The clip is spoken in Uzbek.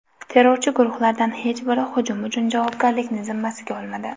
Terrorchi guruhlardan hech biri hujum uchun javobgarlikni zimmasiga olmadi.